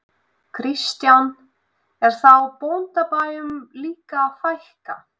Kristján: Er þá bóndabæjum líka að fækka?